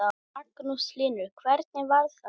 Magnús Hlynur: Hvernig var það?